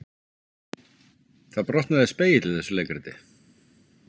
Þar brotnaði spegill í þessu leikriti